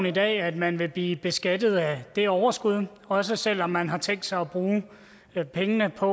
i dag at man vil blive beskattet af det overskud også selv om man har tænkt sig at bruge pengene på